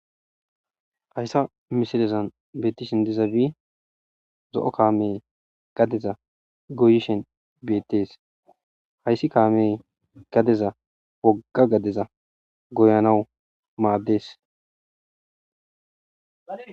hayssa mishilezan beettishin diza bii zo7o kaamey gadeza goyishen beettes hayssi kaamey gadeza wogga gadeza goyanawu maaddees